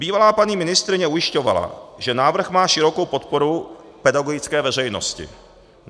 Bývalá paní ministryně ujišťovala, že návrh má širokou podporu pedagogické veřejnosti.